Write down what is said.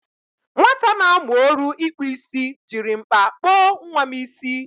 Nwata na-amu oru ikpu isi jiri mkpa kpo nwa m isi.